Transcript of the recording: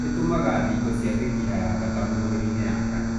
Ĩtũmaga thigo cia mĩkiha ya thakame mwĩrĩinĩ yakane.